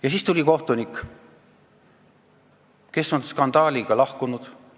Ja siis tuli siia kohtunik, kes on skandaaliga ametist lahkunud.